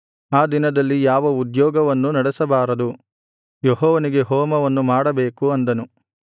ಆ ದಿನದಲ್ಲಿ ಯಾವ ಉದ್ಯೋಗವನ್ನು ನಡೆಸಬಾರದು ಯೆಹೋವನಿಗೆ ಹೋಮವನ್ನು ಮಾಡಬೇಕು ಅಂದನು